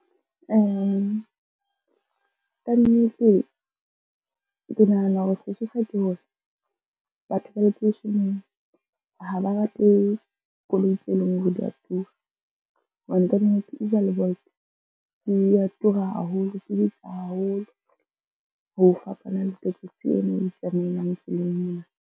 Kannete ke nahana hore sesosa ke hore batho ba lekeisheneng ha ba rate koloi tseo e leng hore dia tura, hobane kannete Uber le Bolt di a tura haholo, di bitsa haholo ho fapana le taxi ena e itsamaelang tseleng mona.